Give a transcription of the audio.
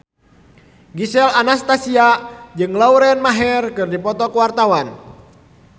Gisel Anastasia jeung Lauren Maher keur dipoto ku wartawan